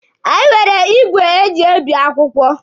Anyị nwere igwe eji ebi akwụkwọ.